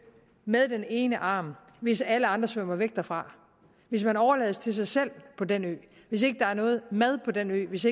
med den ene arm hvis alle andre svømmer væk derfra hvis man overlades til sig selv på den ø hvis ikke der er noget mad på den ø hvis